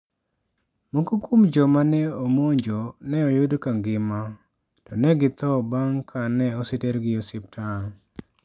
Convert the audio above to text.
Moko kuom joma ne omonjo ne oyud ka ngima, to ne githo bang' ka ne osetergi e osiptal.